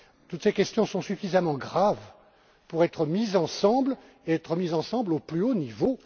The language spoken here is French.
Toutes ces questions sont suffisamment graves pour être mises ensemble et être mises ensemble au plus haut niveau.